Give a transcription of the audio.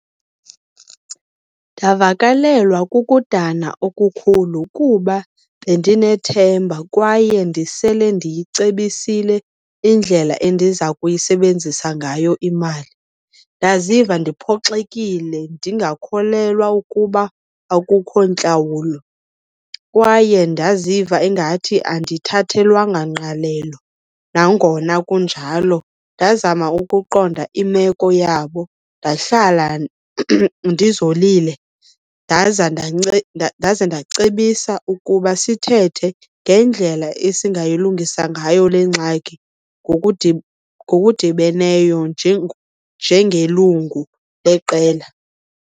Ndavakalelwa kukudana okukhulu kuba bendinethemba kwaye ndisele ndiyicebisile indlela endiza kuyisebenzisa ngayo imali. Ndaziva ndiphoxile ndingakholwa ukuba akukho ntlawulo kwaye ndaziva ingathi andithathelwanga ngqalelo. Nangona kunjalo ndazama ukuqonda imeko yabo, ndahlala ndizolile, ndaza , ndaze ndacebisa ukuba sithethe ngendlela esingayilungisa ngayo le ngxaki ngokudibeneyo njengelungu leqela.